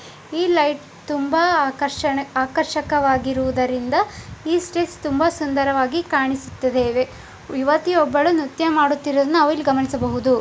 ಈ ಲೈಟ್ ತುಂಬಾ ಆಕರ್ಷ ಆಕರ್ಷಕವಾಗಿರುವುದನ್ನು ಈ ಸ್ಟೇಜ್ ತುಂಬಾ ಸುಂದರವಾಗಿ ಕಾಣುತ್ತಿದೆ ಒಬ್ಬ ಹುಡುಗಿ ಇಲ್ಲಿ ನೃತ್ಯ ಮಾಡುತ್ತಿದ್ದಾಳೆ ಗಮನಿಸಿ ಬ್ಹೊದೋ.